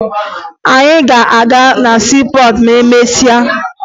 Anyị ga-aga na siipọọtụ ma emesịa